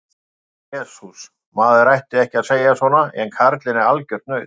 Jesús, maður ætti ekki að segja svona en karlinn er algjört naut.